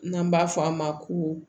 N'an b'a fɔ a ma ko